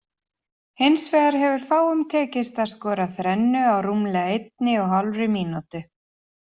Hins vegar hefur fáum tekist að skora þrennu á rúmlega einni og hálfri mínútu.